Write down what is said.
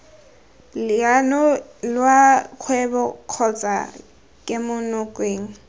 leano lwa kgwebo kgotsa kemonokeng